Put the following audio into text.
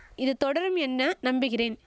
இது தொடரும் என்ன நம்பிகிறேன்